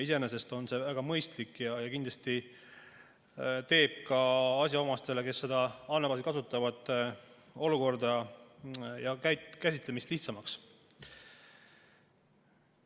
Iseenesest on see väga mõistlik ja kindlasti teeb ka asjaomastele, kes seda andmebaasi kasutavad, olukorra ja käsitlemise lihtsamaks.